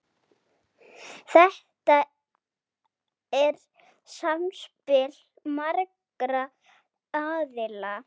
Þetta er samspil margra aðila.